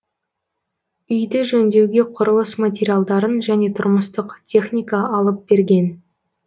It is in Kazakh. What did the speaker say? үйді жөндеуге құрылыс материалдарын және тұрмыстық техника алып берген